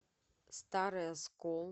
старый оскол